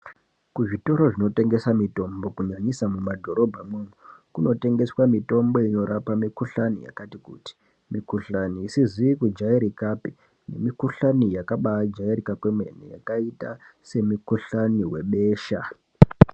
Kuzvitoro zvinotengesa mitombo kunyanyisa mumadhorobha mwomwo kunotengeswa mitombo inorapa mikuhlani yakati kuti mikhuhlani isizi kujairikapi nemikuhlani yakabajairika kwemene yakaita semikuhlani yebesha.